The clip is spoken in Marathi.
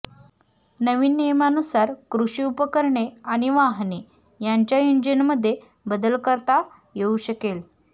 नवीन नियमानुसार कृषी उपकरणे आणि वाहने यांच्या इंजिनमध्ये बदल करता येऊ शकेल